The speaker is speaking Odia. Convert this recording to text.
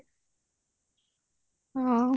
ହଁ